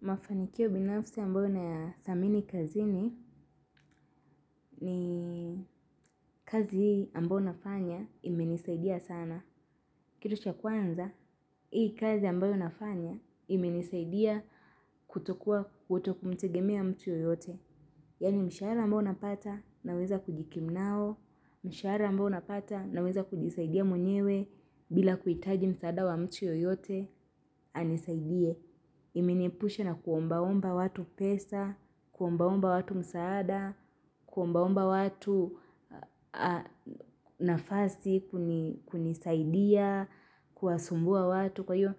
Mafanikio binafsi ambayo na ya dhamini kazini ni kazi ambayo nafanya imenisaidia sana. Kitu cha kwanza, hii kazi ambayo nafanya imenisaidia kutokuwa kutokumtegemea mtu yoyote. Yani mshahara ambayo napata naweza kujikimu nao, mshahara ambao napata naweza kujisaidia mwenyewe bila kuitaji msaada wa mtu yoyote, anisaidie. Imeniepusha na kuombaomba watu pesa, kuombaomba watu msaada, kuombaomba watu nafasi, kunisaidia, kuwasumbua watu. Kwa hiyo,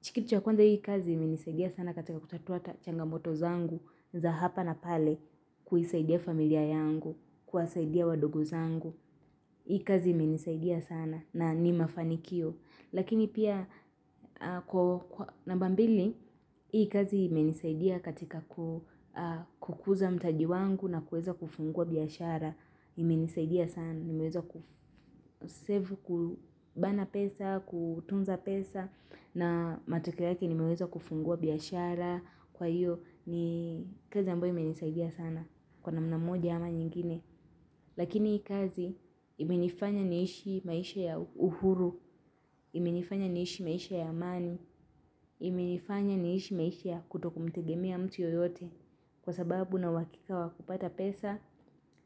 chikitu cha kwanza hii kazi, imenisaidia sana katika kutatua changamoto zangu za hapa na pale. Kuisaidia familia yangu, kuwasaidia wadogo zangu. Hii kazi imenisaidia sana na ni mafanikio. Lakini pia kwa namba mbili, hii kazi imenisaidia katika kukuza mtaji wangu na kuweza kufungua biashara, imenisaidia sana, nimeweza kusevu kubana pesa, kutunza pesa, na matokeo yake nimeweza kufungua biashara, kwa hiyo ni kazi ambayo ime nisaidia sana, kwa namna moja ama nyingine. Lakini hii kazi imenifanya niishi maisha ya uhuru, imenifanya niishi maisha ya amani, imenifanya niishi maisha ya kutokumtegemea ya mtu yoyote kwa sababu na wakika wakupata pesa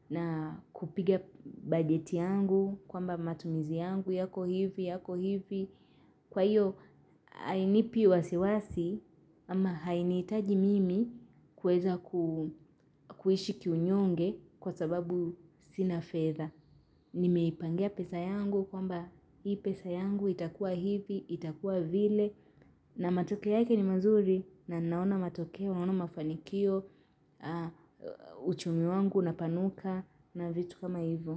na kupiga bajeti yangu, kwamba matumizi yangu, yako hivi, yako hivi. Kwa hiyo, hainipi wasiwasi ama hainihitaji mimi kuweza kuishi kiunyonge kwa sababu sina feather. Nimeipangia pesa yangu kwamba hii pesa yangu itakua hivi, itakua vile. Na matokeo yake ni mazuri na naona matoke, naona mafanikio, uchumi wangu na upanuka na vitu kama hivyo.